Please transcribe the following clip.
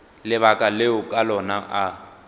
lebaka leo ka lona a